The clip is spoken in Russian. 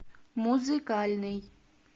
музыкальный